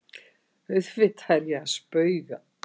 Auðvitað er ég að spauga.